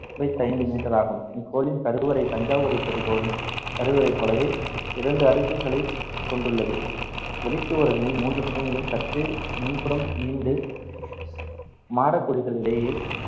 ஐம்பத்தைந்து meter ஆகும். இக்கோவிலின் கருவறை தஞ்சாவூரை பெரிய கோவிலின் கருவறையைப் போலவே இரண்டு அடுக்குகளைக் கொண்டுள்ளது. வெளிச்சுவர்களின் மூன்று பக்கங்களிலும் சற்றே முன்புறம் நீண்டு மாடக் குழிகள் இடையே